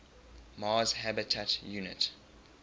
mars habitat unit